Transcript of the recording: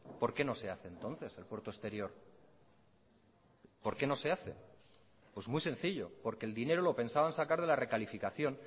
por qué no se hace entonces el puerto exterior por qué no se hace pues muy sencillo porque el dinero lo pensaban sacar de la recalificación